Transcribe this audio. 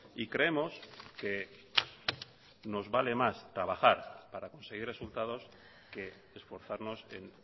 y creemos que nos vale más trabajar para conseguir resultados que esforzarnos en